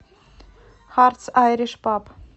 хартс айриш паб